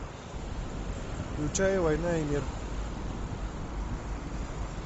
включай война и мир